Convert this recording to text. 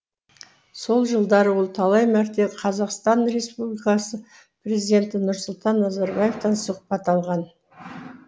сол жылдары ол талай мәрте қазақстан республикасы президенті нұрсұлтан назарбаевтан сұхбат алған